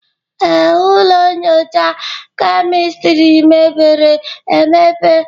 Ee, ụlọ nyocha kemistri mepere emepe.